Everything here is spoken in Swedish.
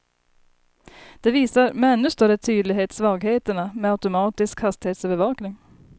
Det visar med ännu större tydlighet svagheterna med automatisk hastighetsövervakning.